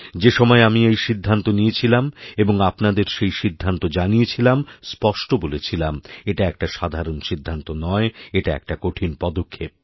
যেসময় আমি এই সিদ্ধান্ত নিয়েছিলাম এবং আপনাদের সেই সিদ্ধান্ত জানিয়েছিলাম স্পষ্টবলেছিলাম এটা একটা সাধারণ সিদ্ধান্ত নয় এটা একটা কঠিন পদক্ষেপ